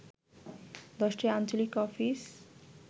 ১০টি আঞ্চলিক অফিস